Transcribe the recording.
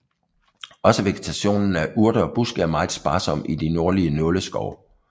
Også vegetationen af urter og buske er mere sparsom i de nordlige nåleskove